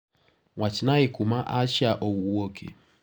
Wachnae kuma Asha wuoke.